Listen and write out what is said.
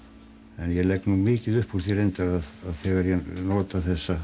en ég legg nú mikið upp úr því reyndar þegar ég nota